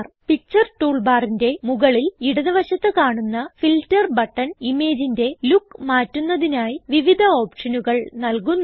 picture tool ബാറിന്റെ മുകളിൽ ഇടത് വശത്ത് കാണുന്ന ഫിൽട്ടർ ബട്ടൺ ഇമേജിന്റെ ലൂക്ക് മാറ്റുന്നതിനായി വിവിധ ഓപ്ഷനുകൾ നല്കുന്നു